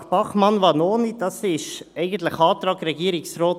Der Antrag Bachmann/Vanoni ist eigentlich der Antrag Regierungsrat